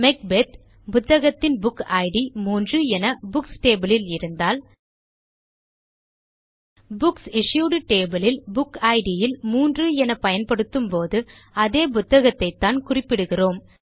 Macbeth புத்தகத்தின் book id 3 என books table ல் இருந்தால் புக்ஸ் இஷ்யூட் டேபிள் யில் புக் இட் இல் 3 என பயன்படுத்தும்போது அதே புத்தகத்தைத்தான் குறிப்பிடுகிறோம்